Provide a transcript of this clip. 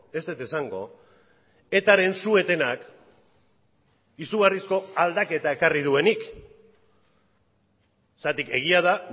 ez dut esango etaren su etenak izugarrizko aldaketa ekarri duenik zergatik egia da